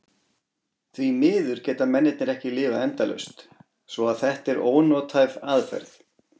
Því miður geta mennirnir ekki lifað endalaust svo að þetta er ónothæf aðferð.